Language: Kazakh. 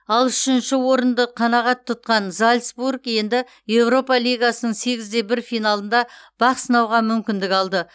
ал үшінші орынды қанғат тұтқан зальцбург енді еуропа лигасының сегіз де бір финалында бақсынауға мүмкіндік алды